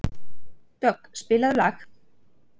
Dögg, spilaðu lag.